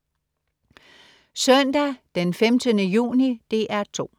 Søndag den 15. juni - DR 2: